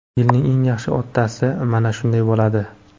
Yilning eng yaxshi otasi mana shunday bo‘ladi.